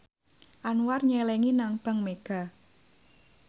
Anwar nyelengi nang bank mega